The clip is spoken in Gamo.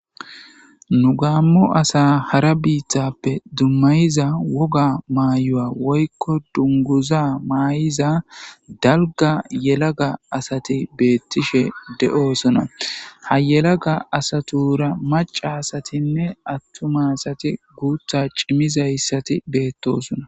Nu gamo asa hara biitappe dumayiza wogga mayo woyko dungguza mayida dalgga yellaga asati betishe de7osona ha yelagga asatura macca asatine atumma asati guththa cimizayssati betosona.